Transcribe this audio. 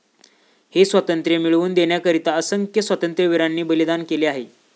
हे स्वातंत्र्य मिळवून देण्याकरीता असंख्य स्वातंत्र्यवीरांनी बलिदान केले आहे.